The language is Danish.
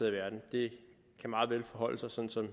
i verden det kan meget vel forholde sig sådan som